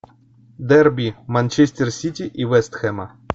дерби манчестер сити и вест хэма